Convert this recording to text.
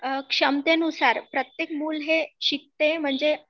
क्षमतेनुसार प्रत्येक मुल हे शिकतय म्हणजे